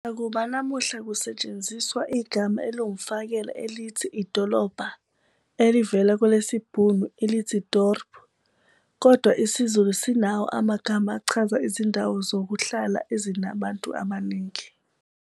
Nakuba namuhla kusetshenziswa igama eliwumfakela elithi "idolobha" elivela kwelesibhunu elithi "dorp", kodwa isiZulu sinawo amagama achaza izindawo zokuhlala ezinabantu abaningi.